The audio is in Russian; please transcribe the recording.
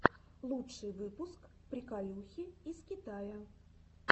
лучший выпуск приколюхи из китая